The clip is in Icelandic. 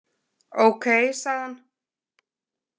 Ókei, sagði hann.